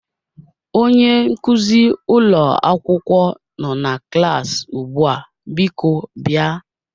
Onye nkuzi ụlọ akwụkwọ nọ na klas ugbu a, biko bịa.